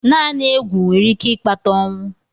Naanị egwu nwere ike ịkpata ọnwụ.